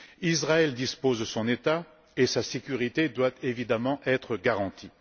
Israël dispose de son État et sa sécurité doit évidemment être garantie.